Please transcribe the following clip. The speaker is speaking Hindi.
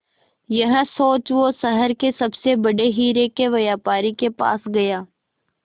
यह सोच वो शहर के सबसे बड़े हीरे के व्यापारी के पास गया